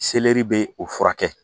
Selɛri bɛ o furakɛ